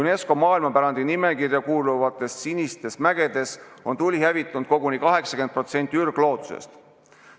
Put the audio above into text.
UNESCO maailmapärandi nimekirja kuuluvates Sinistes mägedes on tuli hävitanud koguni 80% ürgloodusest.